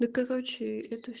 да короче это